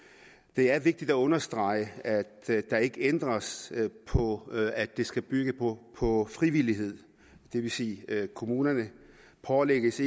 det er vigtigt at understrege at der ikke ændres på at det skal bygge på på frivillighed det vil sige at kommunerne ikke pålægges